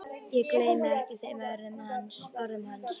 Ég gleymi ekki þeim orðum hans.